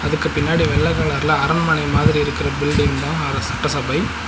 அதுக்குப் பின்னாடி வெள்ள கலர்ல அரண்மனை மாதிரி இருக்குற பில்டிங் தா அர சட்ட சபை.